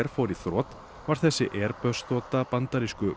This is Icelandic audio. fór í þrot varð þessi Airbus þota bandarísku